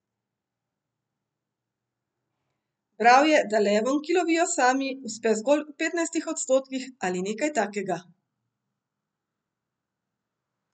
Bral je, da levom, ki lovijo sami, uspe zgolj v petnajstih odstotkih ali nekaj takega.